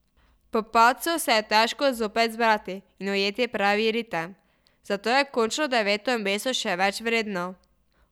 Po padcu se je težko zopet zbrati in ujeti pravi ritem, zato je končno deveto mesto še več vredno.